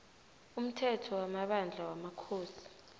umthetho wamabandla wamakhosi